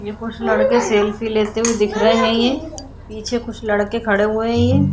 ये कुछ लड़के सेल्फी लेते हुए दिख रहे है ये पीछे कुछ लड़के खड़े हुए है ये।